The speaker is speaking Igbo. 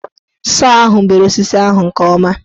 Sọọ ahụ bere osisi ahụ nke ọma.